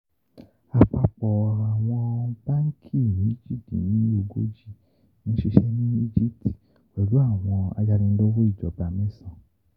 Apapọ awọn banki méjìdínlógójì n ṣiṣẹ ni Egipti, pẹlu awọn ayanilowo ijọba mẹ́sàn.